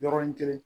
Yɔrɔnin kelen